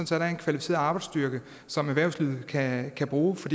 så der er en kvalificeret arbejdsstyrke som erhvervslivet kan kan bruge for